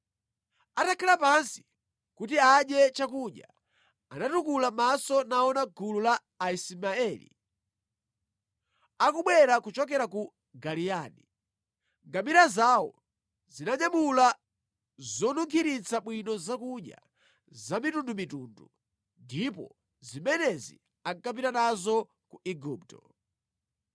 Atakhala pansi kuti adye chakudya, anatukula maso naona gulu la Aismaeli akubwera kuchokera ku Giliyadi. Ngamira zawo zinanyamula zonunkhiritsa bwino zakudya zamitundumitundu, ndipo zimenezi ankapita nazo ku Igupto.